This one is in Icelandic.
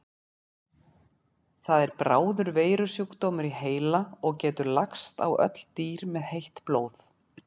Það er bráður veirusjúkdómur í heila og getur lagst á öll dýr með heitt blóð.